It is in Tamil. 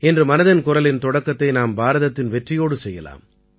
இன்று மனதின் குரலின் தொடக்கத்தை நாம் பாரதத்தின் வெற்றியோடு செய்யலாம்